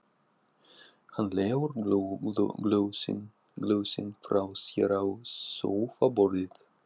Hann leggur glösin frá sér á sófaborðið.